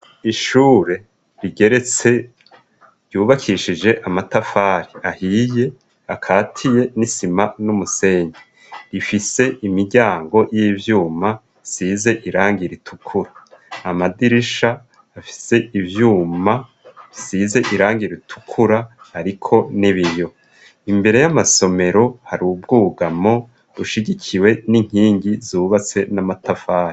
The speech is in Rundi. Ishure rigeretse ryubakishije amatafari ahiye akatiye n'isima n'umusenge rifise imiryango y'ivyuma size iranga iritukura amadirisha afise ivyuma size iranga iritukura, ariko ni be iyo imbere y'amasomero hari ubwogamo bushigikiwe n'inkingi zubatse n'amatafahe.